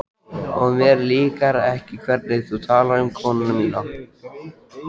Og mér líkar ekki hvernig þú talar um konuna mína